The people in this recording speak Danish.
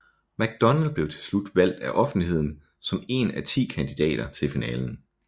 McDonald blev til slut valgt af offentligheden som en af ti kandidater til finalen